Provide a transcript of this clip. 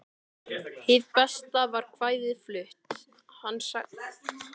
Hið besta var kvæðið flutt, sagði hann loks.